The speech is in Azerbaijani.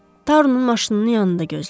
Tarunun maşınının yanında gözləyin.